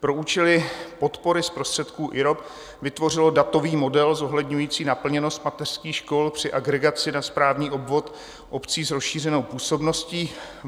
pro účely podpory z prostředků IROP vytvořilo datový model zohledňující naplněnost mateřských škol při agregaci na správní obvod obcí s rozšířenou působností.